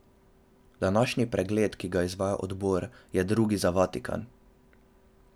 Današnji pregled, ki ga izvaja odbor, je drugi za Vatikan.